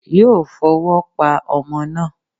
Yóò fọwọ́ pa ọmọ náà.